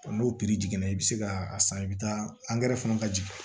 N'o jiginna i bɛ se ka a san i bɛ taa fana ka jigin